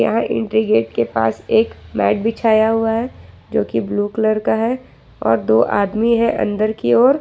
यहां entry gate के पास एक मैट बिछाया हुआ है जो कि ब्ल्यू कलर है और दो आदमी है अंदर की ओर--